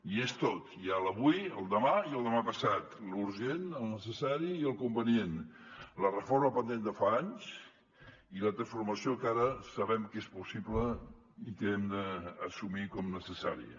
hi és tot hi ha l’avui el demà i el demà passat l’urgent el necessari i el convenient la reforma pendent de fa anys i la transformació que ara sabem que és possible i que hem d’assumir com a necessària